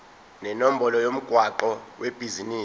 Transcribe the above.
nenombolo yomgwaqo webhizinisi